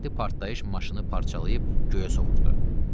Dəhşətli partlayış maşını parçalayıb göyə sovurdu.